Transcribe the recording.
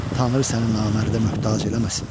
Tanrı səni namərdə möhtac eləməsin.